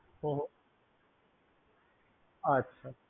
হুঁ হুঁ আচ্ছা